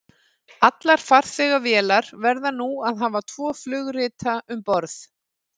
allar farþegavélar verða nú að hafa tvo flugrita um borð